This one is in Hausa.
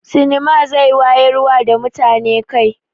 Sinima zai wayarwa da mutane kai.